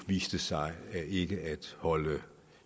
viste sig ikke at holde vand